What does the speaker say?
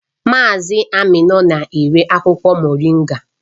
Mazị Aminu na-ere akwụkwọ Moringa